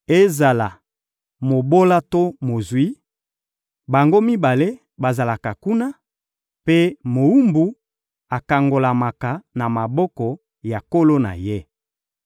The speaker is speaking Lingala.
Ezala mobola to mozwi, bango mibale bazalaka kuna, mpe mowumbu akangolamaka na maboko ya nkolo na ye.